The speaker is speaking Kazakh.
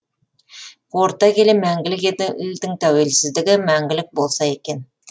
қорыта келе мәңгілік елдің тәуелсіздігі мәңгілік болса екен